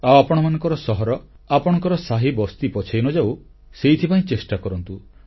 ଆଉ ଆପଣମାନଙ୍କର ସହର ଆପଣମାଙ୍କର ସାହିବସ୍ତି ପଛେଇ ନଯାଉ ସେଥିପାଇଁ ଚେଷ୍ଟା କରନ୍ତୁ